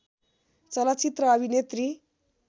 चलचित्र अभिनेत्री